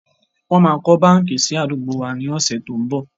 Wọn máa kọ́ báńkì sì àdúgbò wá ní ọ̀sẹ̀ tó n bọ̀.